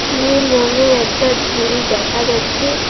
নীল রংয়ের একটা ঝুরি দেখা যাচ্ছে।